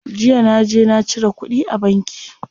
Jiya naje na cire kuɗi a banki.